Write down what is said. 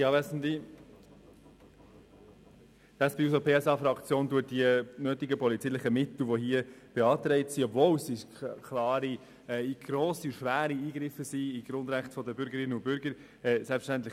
Selbstverständlich stellt die SP-JUSO-PSA-Fraktion die notwendigen polizeilichen Mittel, die hier beantragt werden, nicht infrage, obwohl diese klare, grosse und schwere Eingriffe in die Grundrechte der Bürger darstellen.